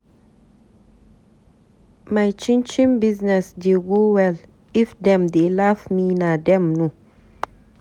My chin chin business dey go well, if dem dey laugh me na dem know.